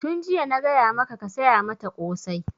Tun jiya na gaya maka ka saya mata ƙosai!